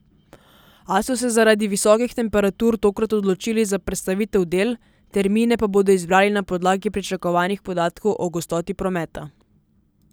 A so se zaradi visokih temperatur tokrat odločili za prestavitev del, termine pa bodo izbrali na podlagi pričakovanih podatkov o gostoti prometa.